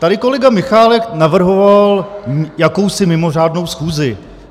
Tady kolega Michálek navrhoval jakousi mimořádnou schůzi.